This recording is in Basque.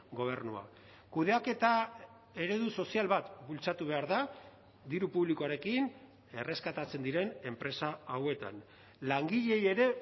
gobernuak kudeaketa eredu sozial bat bultzatu behar da diru publikoarekin erreskatatzen diren enpresa hauetan langileei ere